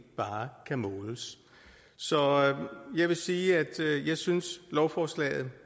bare kan måles så jeg vil sige at jeg synes lovforslaget